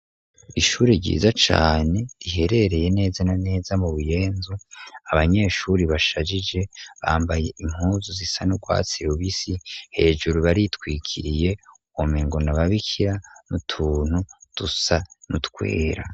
Ishure ryiza cane riherereye neza na neza mu buyenzi, abanyeshuri bashajije bambaye impuzu zisa nubwatsi tubisi hejuru baritwikiriye womenga n'ababikira n'utuntu dusa n'utwera.